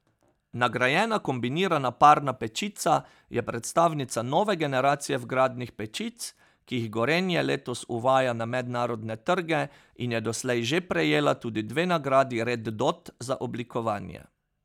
Nagrajena kombinirana parna pečica je predstavnica nove generacije vgradnih pečic, ki jih Gorenje letos uvaja na mednarodne trge in je doslej že prejela tudi dve nagradi Red Dot za oblikovanje.